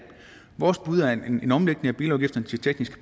vores bud er en omlægning af bilafgifterne til tekniske